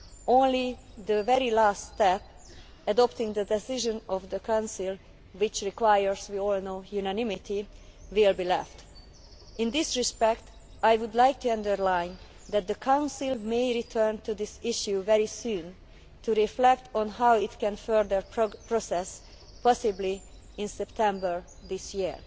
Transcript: only the very last step adopting the decision of the Council which, as we all know, requires unanimity will be left. In this respect, I would like to underline that the Council may return to this issue very soon to reflect on how it can further the process, possibly in September this year.